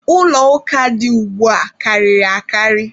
Ụlọ ụka dị ugbua karịrị akarị.